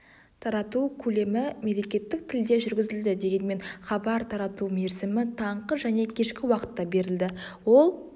тарату көлемі мемлекеттік тілде жүргізілді дегенмен хабар тарату мерзімі таңғы және кешкі уақытта берілді ол